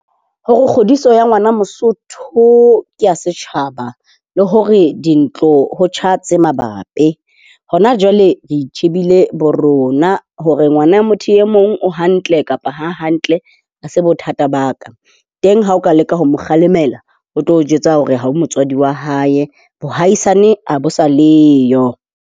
Hore kgodiso ya ngwana Mosotho ke a setjhaba, le hore dintlo ho tjha tse mabapi. Hona jwale re itjhebile bo rona. Hore ngwana motho e mong o hantle kapa ha a hantle, ha se bothata ba ka. Teng ha o ka leka ho mo kgalemela, o tlo o jwetsa hore ha o motswadi wa hae. Boahaisane ha bo sa leyo.